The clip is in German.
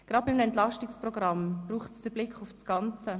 Gerade beim EP braucht es den Blick auf das Ganze.